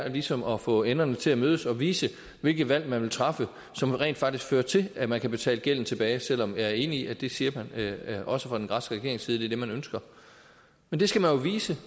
ligesom at få enderne til at mødes og vise hvilket valg man vil træffe som rent faktisk fører til at man kan betale gælden tilbage selv om jeg er enig i at det siger man også fra den græske regerings side man ønsker men det skal man jo vise